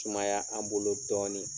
Sumaya an bolo dɔɔnin